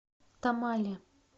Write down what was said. тамале